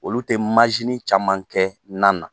Olu tɛ caman kɛ na na.